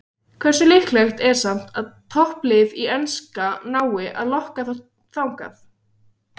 Hversu líklegt er samt að topplið í enska nái að lokka þá þangað?